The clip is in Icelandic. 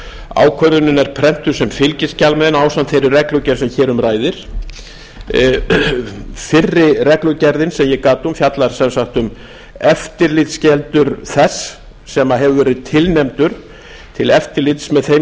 ákvörðunin er prentuð sem fylgiskjal með henni ásamt þeirri reglugerð sem hér um ræðir fyrri reglugerðin sem ég gat um fjallar sem sagt um eftirlitsskyldur þess sem hefur verið tilnefndur til eftirlits með